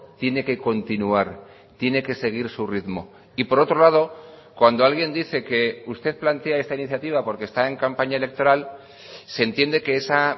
tiene que continuar tiene que seguir su ritmo y por otro lado cuando alguien dice que usted plantea esta iniciativa porque está en campaña electoral se entiende que esa